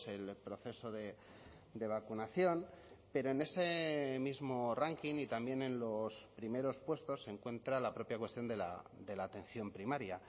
el proceso de vacunación pero en ese mismo ranking y también en los primeros puestos se encuentra la propia cuestión de la atención primaria